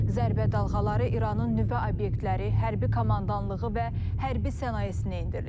Zərbə dalğaları İranın nüvə obyektləri, hərbi komandanlığı və hərbi sənayesinə endirilib.